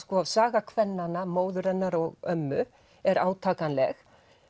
saga kvennanna móður hennar og ömmu er átakanleg